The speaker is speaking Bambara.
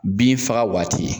Bin faga waati